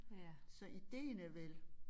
Så ideen er vel